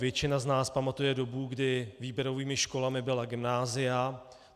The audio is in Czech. Většina z nás pamatuje dobu, kdy výběrovými školami byla gymnázia.